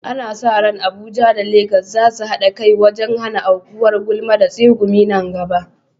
Ana sa ran Abuja da Legas za su haɗa kai wajen hana aukuwar gulma da tsegumi nan gaba.